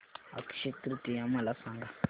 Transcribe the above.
अक्षय तृतीया मला सांगा